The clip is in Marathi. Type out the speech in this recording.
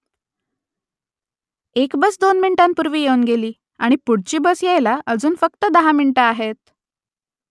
एक बस दोन मिनिटांपूर्वी येऊन गेली आणि पुढची बस यायला अजून फक्त दहा मिनिटं आहेत